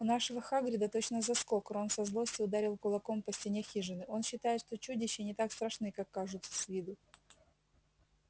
у нашего хагрида точно заскок рон со злости ударил кулаком по стене хижины он считает что чудища не так страшны как кажутся с виду